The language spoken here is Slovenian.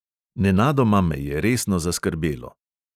Nenadoma me je resno zaskrbelo.